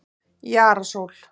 Jara Sól